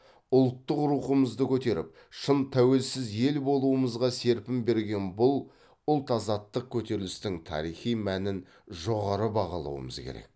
ұлттық рухымызды көтеріп шын тәуелсіз ел болуымызға серпін берген бұл ұлт азаттық көтерілістің тарихи мәнін жоғары бағалауымыз керек